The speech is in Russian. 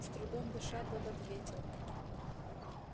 с трудом дыша тот ответил